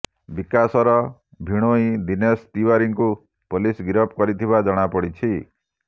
ବିକାଶର ଭିଣୋଇ ଦିନେଶ ତିଓ୍ୱାରୀଙ୍କୁ ପୋଲିସ ଗିରଫ କରିଥିବା ଜଣାପଡ଼ିଛି